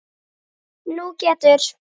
Nú getur